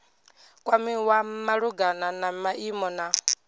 kwamiwa malugana na maimo na